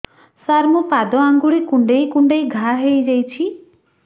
ସାର ମୋ ପାଦ ଆଙ୍ଗୁଳି କୁଣ୍ଡେଇ କୁଣ୍ଡେଇ ଘା ହେଇଯାଇଛି